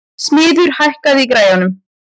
Smiður, hækkaðu í græjunum.